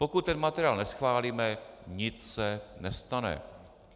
Pokud ten materiál neschválíme, nic se nestane.